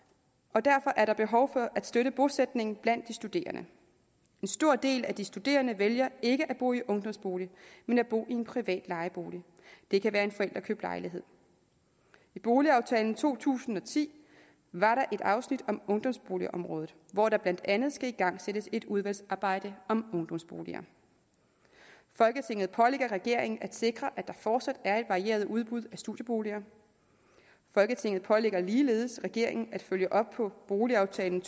og derfor er der behov for at støtte bosætningen blandt de studerende en stor del af de studerende vælger ikke at bo i ungdomsbolig men at bo i en privat lejebolig det kan være en forældrekøbt lejlighed i boligaftalen fra to tusind og ti var der et afsnit om ungdomsboligområdet hvor der blandt andet skal igangsættes et udvalgsarbejde om ungdomsboliger folketinget pålægger regeringen at sikre at der fortsat er et varieret udbud af studieboliger folketinget pålægger ligeledes regeringen at følge op på boligaftalen